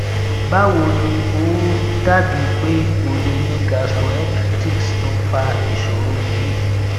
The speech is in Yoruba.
báwo ni ó ó dàbí pé o lè ní cs] gastroenteritis tó ń fa ìṣòro yìí